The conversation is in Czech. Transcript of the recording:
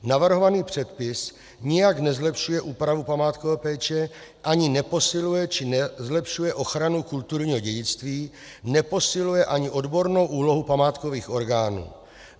Navrhovaný předpis nijak nezlepšuje úpravu památkové péče ani neposiluje či nezlepšuje ochranu kulturního dědictví, neposiluje ani odbornou úlohu památkových orgánů.